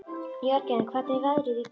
Jörgen, hvernig er veðrið í dag?